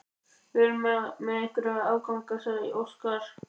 Við erum með einhverja afganga, sagði Óskar.